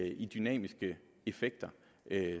i dynamiske effekter